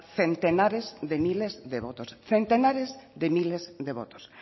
centenares de miles de votos centenares de miles de votos